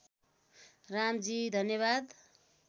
रामजी धन्यवाद